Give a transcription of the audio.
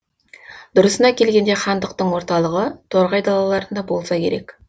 дұрысына келгенде хандықтың орталығы торғай далаларында болса керек